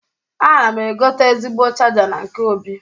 Ana m egote ezigbo chaja na nke Obi.